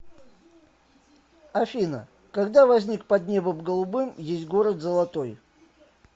афина когда возник под небом голубым есть город золотой